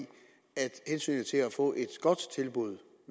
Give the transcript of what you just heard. at hensynet til at få et godt tilbud